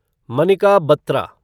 Manika Batra